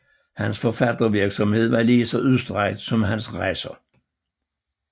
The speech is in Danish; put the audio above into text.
Hans forfattervirksomhed var lige så udstrakt som hans rejser